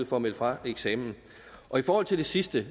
for at melde fra ved eksamen og i forhold til det sidste